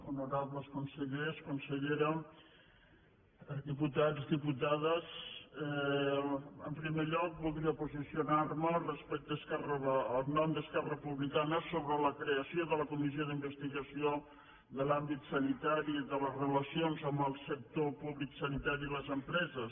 honorables consellers consellera diputats diputades en primer lloc voldria posicionar me en nom d’esquerra republicana sobre la creació de la comissió d’investigació de l’àmbit sanitari i de les relacions amb el sector públic sanitari i les empreses